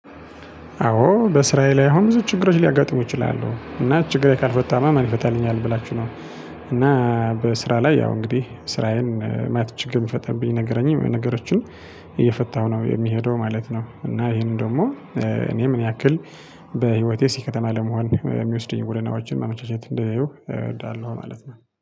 አዎ በስራዬ ላይ አሁን ብዙ ችግሮች ሊያጋጥሙ ይችላሉ እና ችግሬ ካልፈታሁማ ማን ይፈታልኛል ብላችሁ ነው። እና በስራ ላይ ያው እንግዲህ ስራዬን ማለት ችግር የሚፈጥርብኝ። ነገሮችን እየፈታሁ ነው የሚሄደው ማለት ነው። እና ይሄንን ደግሞ እኔ ምን ያክል በህይወቴ ስኬታማ ለመሆን የሚወስደኝ ሁልናዎችን ማመቻቸት እንደሚያየው እወዳለሁ ማለት ነው